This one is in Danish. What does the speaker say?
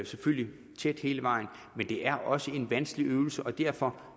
selvfølgelig tæt hele vejen men det er også en vanskelig øvelse derfor